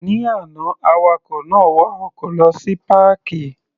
Ní àná, awakọ̀ náà wa ọkọ̀ lọ sí páàkì.